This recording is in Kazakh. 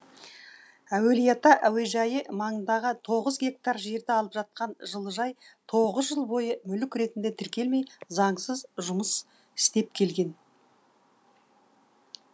әулиеата әуежайы маңындағы тоғыз гектар жерді алып жатқан жылыжай тоғыз жыл бойы мүлік ретінде тіркелмей заңсыз жұмыс істеп келген